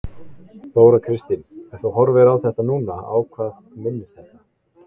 Þóra Kristín: Ef þú horfir á þetta núna, á hvað minnir þetta?